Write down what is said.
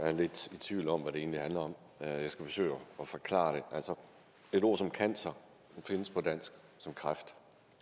er lidt i tvivl om hvad det egentlig handler om jeg skal forsøge at forklare det altså et ord som cancer findes på dansk som kræft